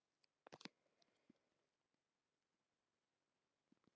Þórhallur: Að það geti þá fengist fé þaðan?